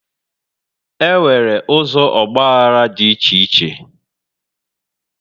E nwere ụzọ ọgbaghara dị iche iche